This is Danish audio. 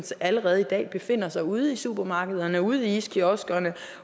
allerede i dag befinder sig ude i supermarkederne ude i iskioskerne